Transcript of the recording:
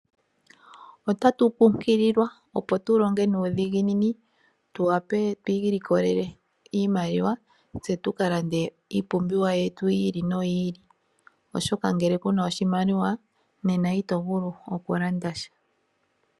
Otatu kunkililwa opo tu longe nuudhiginini, tu wape twi ilikolele iimaliwa tse tuka lande iipumbiwa yetu yili noyi ili. Oshoka ngele kuna oshimaliwa nena ito vulu oku landa sha.